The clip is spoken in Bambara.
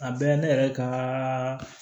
A bɛɛ ne yɛrɛ ka